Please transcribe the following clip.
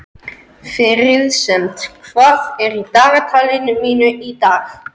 Friðsemd, hvað er í dagatalinu mínu í dag?